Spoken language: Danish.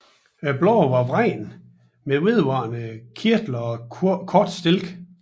Bladene er vredne med vedvarende kirtler og kort stilk